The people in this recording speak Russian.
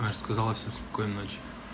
маша сказала всем спокойной ночи